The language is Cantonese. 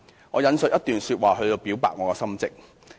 我引述一段說話以表白我的心跡。